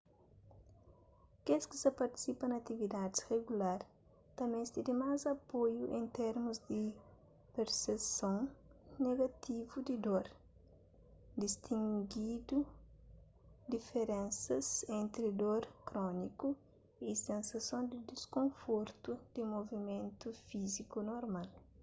kes ki sa partisipa na atividadis rigular ta meste di más apoiu en termus di perseson negativu di dor distingindu diferensas entri dor króniku y sensason di diskonfortu di movimentu fíziku normal